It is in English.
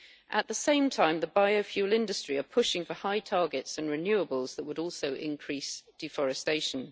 At the same time, the biofuel industry are pushing for high targets and renewables that would also increase deforestation.